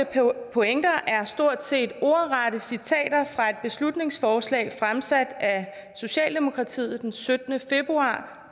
pointer er stort set ordrette citater fra et beslutningsforslag fremsat af socialdemokratiet den syttende februar